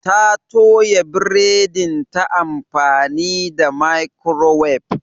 Ta toya biredin ta amfani da microwave.